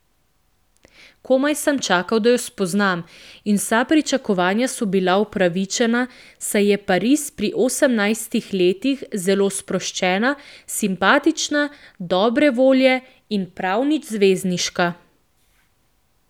Komaj sem čakal, da jo spoznam, in vsa pričakovanja so bila upravičena, saj je Paris pri osemnajstih letih zelo sproščena, simpatična, dobre volje in prav nič zvezdniška.